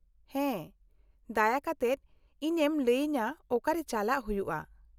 -ᱦᱮᱸ, ᱫᱟᱭᱟ ᱠᱟᱛᱮᱫ ᱤᱧᱮᱢ ᱞᱟᱹᱭᱟᱹᱧᱟᱹ ᱚᱠᱟᱨᱮ ᱪᱟᱞᱟᱜ ᱦᱩᱭᱩᱜᱼᱟ ?